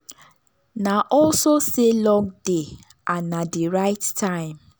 na also say luck dey and na the right time.